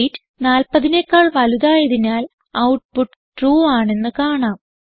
weight 40 നെക്കാൾ വലുതായതിനാൽ output true ആണെന്ന് കാണാം